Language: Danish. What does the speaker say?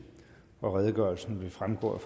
og redegørelsen vil fremgå af